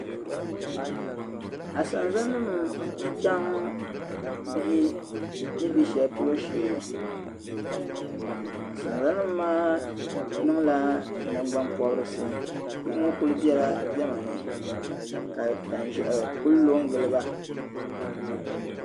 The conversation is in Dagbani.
Asanzalnima n chaŋ bihi ni be shɛli polo sheei ka asanzalnima maa niŋ la nagban pɔbrisi bihi ŋɔ kuli bɛla diɛma ni ka tanzehi kuli lo n giliba